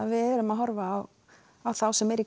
við erum að horfa á þá sem eru í